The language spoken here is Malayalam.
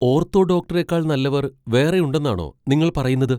ഓർത്തോ ഡോക്ടറേക്കാൾ നല്ലവർ വേറെയുണ്ടെന്നാണോ നിങ്ങൾ പറയുന്നത്?